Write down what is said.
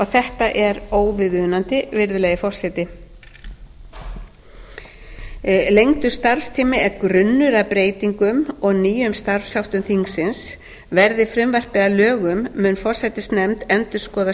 þetta er óviðunandi virðulegi forseti lengdur starfstími er grunnur að breytingum og nýjum starfsháttum þingsins verði frumvarpið að lögum mun forsætisnefnd endurskoða